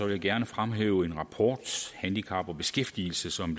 jeg gerne fremhæve en rapport handicap og beskæftigelse som